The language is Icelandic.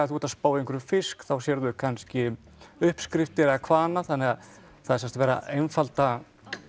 þú ert að spá í einhverjum fisk þá sérðu kannski uppskriftir eða hvað annað þannig að það er sem sagt verið að einfalda